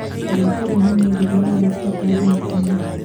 Thaka rĩonanio rĩria rĩrabuata thinema-inĩ .